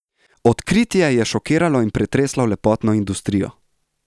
Odkritje je šokiralo in pretreslo lepotno industrijo!